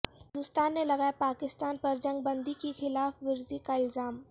ہندوستان نے لگایا پاکستان پر جنگ بندی کی خلاف ورزی کا الزام